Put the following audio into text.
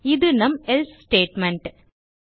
இது நம் எல்சே ஸ்டேட்மெண்ட்